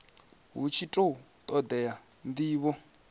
hu tshi khou todea ndivho